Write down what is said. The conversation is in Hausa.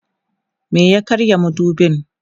me ya karya madubin?